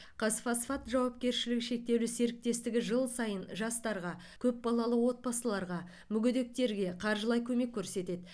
қазфосфат жауапкершілігі шектеулі серіктестігі жыл сайын жастарға көп балалы отбасыларға мүгедектерге қаржылай көмек көрсетеді